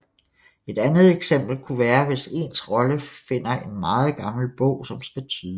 Et andet eksempel kunne være hvis ens rolle finder en meget gammel bog som skal tydes